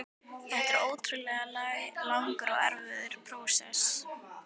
Þetta var ótrúlega langur og erfiður prósess.